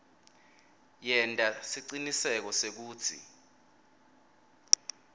yenta siciniseko sekutsi